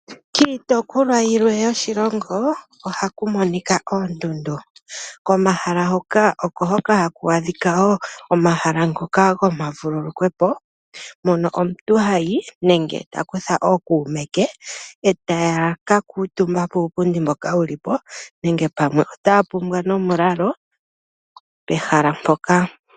Kiitopolwa yilwe yoshilongo ohaku monika oondundu. Komahala hoka oko hoka haku adhika wo omahala ngoka gomavululukwepo mono omuntu hayi nenge ta kutha ookume ke, e taya ka kuutumba kuupundi mboka wuli po nenge pamwe otaya pumbwa nomulalo pehala mpoka.